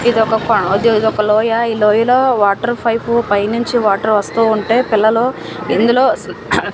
ఇది ఒక పా ఇది ఒక లో లోయా ఈ లోయా లో వాటర్ వైప్ పైనుంచి వాటర్ వస్తూ ఉంటే పిల్లలు ఇందులో సి--